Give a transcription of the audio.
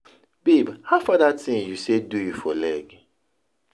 Babe howfar dat thing you say do you for leg?